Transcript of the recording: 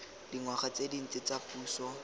dingwaga tse dintsi tsa puso